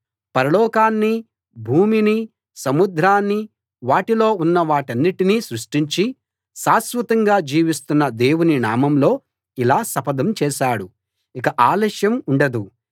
పరలోకాన్నీ భూమినీ సముద్రాన్నీ వాటిలో ఉన్నవాటినన్నిటినీ సృష్టించి శాశ్వతంగా జీవిస్తున్న దేవుని నామంలో ఇలా శపథం చేశాడు ఇక ఆలస్యం ఉండదు